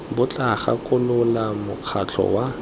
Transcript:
bo tla gakolola mokgatlho wa